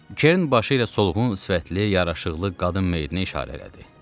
Kern başı ilə solğun, sifətli, yaraşıqlı qadın meyidinə işarə elədi.